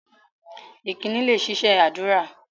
Ìkíni lẹ ṣiṣẹ́ ádùrá